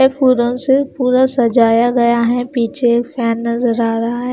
ये फूलों से पूरा सजाया गया है पीछे एक फैन नजर आ रहा है।